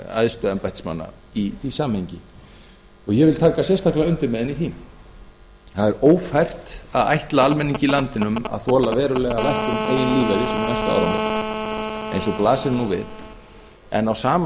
æðstu embættismanna í því samhengi og ég vil taka sérstaklega undir með henni í því það er ófært að ætla almenningi í landinu að þola verulega lækkun eigin lífeyris um næstu áramót eins og blasir nú við en á sama